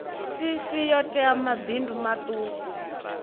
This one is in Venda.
cc yo tea mabindu maṱuku